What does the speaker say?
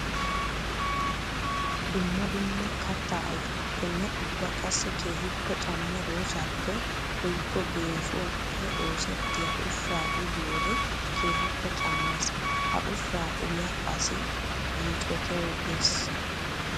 Dumma dumma katta ayfetuppenne ubba qassi keehippe cammiya doozappe woykko geeshshuwappe oosettiya ushsha uyiyoode keehippe cammes. Ha ushshaa uya asi yiicottogees.